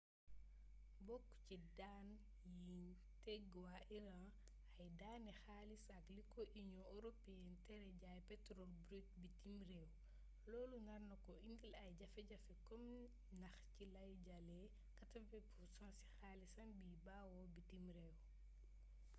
bokk ci daan yiñ teg waa iran ay daani xaalis ak li ko union européenne tere jaay petrole brute bitim réew loolu nar ko indil ay jafe-jafey koom ndax ci lay jëlee 80% ci xaalisam biy bawoo bitim réew